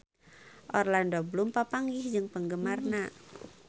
Orlando Bloom papanggih jeung penggemarna